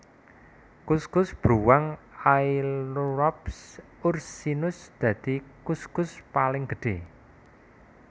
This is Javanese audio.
Kuskus bruwang Ailurops ursinus dadi kuskus paling gedhé